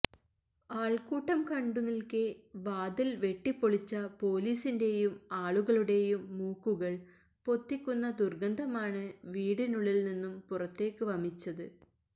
ആള്ക്കൂട്ടം കണ്ടു നില്ക്കെ വാതില് വെട്ടിപ്പൊളിച്ച പോലീസിന്റെയും ആളുകളുടെയും മൂക്കുകള് പൊത്തിക്കുന്ന ദുര്ഗന്ധമാണ് വീടിനുള്ളില് നിന്നും പുറത്തേക്ക് വമിച്ചത്